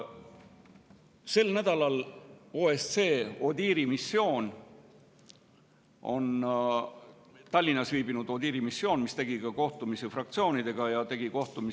Sel nädalal viibis Tallinnas OSCE ODIHR‑i missioon, kellel oli kohtumisi ka fraktsioonide ja komisjonidega.